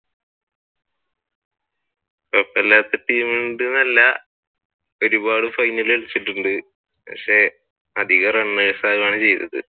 കൊഴപ്പമില്ലാത്ത team ഉണ്ട് എന്ന് അല്ല ഒരുപാട് ഫൈനൽ കളിച്ചിട്ടുണ്ട് പക്ഷെ അധികം runners ആകുകയാണ് ചെയ്തത്.